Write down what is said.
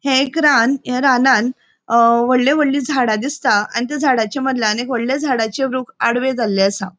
ये एक रान या रानान अ वोड़ली वोड़ली झाडा दिसता आणि त्या झाडाच्या मदल्यान एक वडले झाडाचे वृक आडवे जाल्ले आसा.